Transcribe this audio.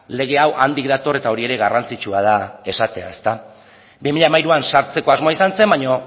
lege hau handik dator eta hori ere garrantzitsua da esatea bi mila hamairuan sartzeko asmoa izan zen baina